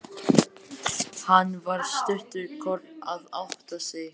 Hann var stundarkorn að átta sig.